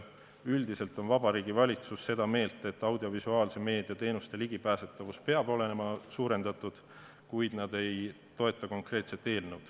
Üldiselt on Vabariigi Valitsus seda meelt, et audiovisuaalse meedia teenuste ligipääsetavust peab suurendama, kuid nad ei toeta konkreetset eelnõu.